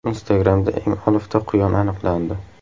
Instagram’da eng olifta quyon aniqlandi.